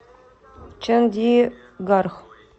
чандигарх